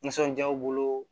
Nisɔndiyaw bolo